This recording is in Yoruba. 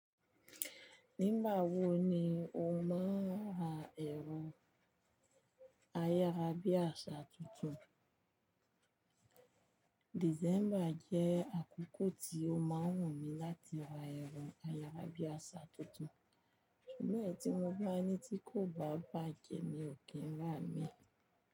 Nígbà wo ni o máa ń ra ẹro ayárá bí àsà tuntun? December jẹ́ àkókò tí o máa ń wù mí láti ra ẹro ayárá bí àsà tuntun, ṣùgbọ́n èyí tí mo bá ní tí kò bá bàjẹ́ mi ò kí ń rà mí.